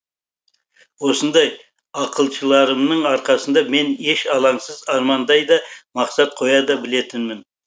осындай ақылшыларымның арқасында мен еш алаңсыз армандай да мақсат қоя да білетінмін